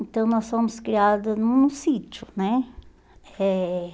Então, nós fomos criadas num sítio, né? Eh